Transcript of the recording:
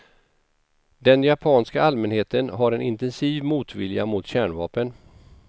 Den japanska allmänheten har en intensiv motvilja mot kärnvapen.